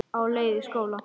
Á leið í skóla.